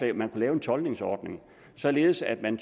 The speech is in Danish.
at man kunne lave en toldningsordning således at man